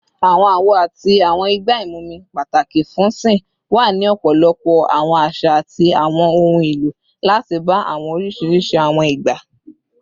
Awọn awo ati awọn igba imumi, pataki fun sìn, wa ni ọpọlọpọ awọn aṣa ati awọn ohun elo lati ba awọn oriṣiriṣi awọn igba